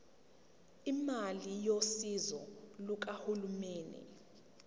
imali yosizo lukahulumeni